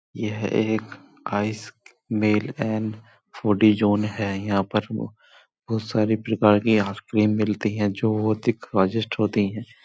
यह एक ice mail and foodie zone है| यहां पर बहोत सारे प्रकार की आइसक्रीम मिलती है। जो ओ दिख स्वादिष्ट होती है।